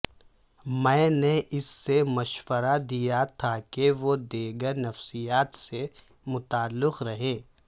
میں نے اس سے مشورہ دیا تھا کہ وہ دیگر نفسیات سے متعلق رہیں